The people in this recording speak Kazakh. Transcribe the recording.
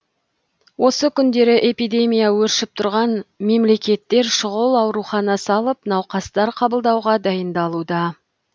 осы күндері эпидемия өршіп тұрған мемлекеттер шұғыл аурухана салып науқастар қабылдауға дайындалуда